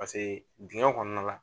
Paseke digɛn kɔnɔna la